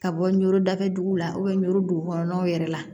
Ka bɔ nɔrɔ dafɛ dugu la u bɛn n'o dugu kɔnɔnaw yɛrɛ la